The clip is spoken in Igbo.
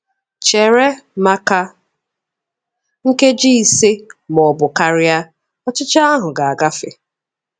Chere maka nkeji ise ma ọ bụ karịa, ọchịchọ ahụ ga-agafe.